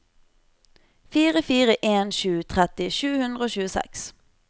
fire fire en sju tretti sju hundre og tjueseks